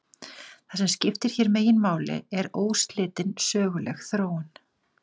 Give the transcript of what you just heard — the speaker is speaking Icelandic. Það sem skiptir hér meginmáli er óslitin söguleg þróun.